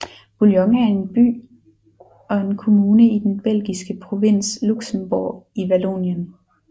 Bouillon er en by og en kommune i den belgiske provins Luxembourg i Vallonien